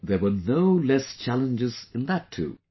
But there were no less challenges in that too